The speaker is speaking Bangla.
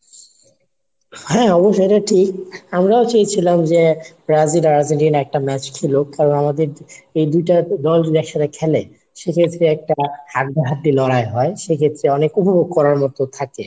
হ্যাঁ অবশ্যই এটা ঠিক, আমরাও চেয়েছিলাম যে ব্রাজিল আর আর্জেন্টিনা একটা match খেলুক, কারণ আমাদের দুইটা দল যদি একসাথে খেলে সে ক্ষেত্রে একটা হাড্ডাহাড্ডি লড়াই হয়। সেক্ষেত্রে অনেক উপভোগ করার মতো থাকে.